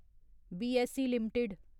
BSE limited